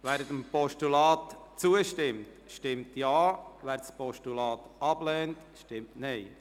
Wer diesem Postulat zustimmt, stimmt Ja, wer es ablehnt, stimmt Nein.